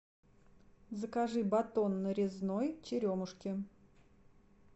закажи батон нарезной черемушки